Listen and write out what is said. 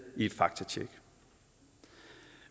i et faktatjek